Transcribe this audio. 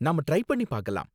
நாம ட்ரை பண்ணி பாக்கலாம்.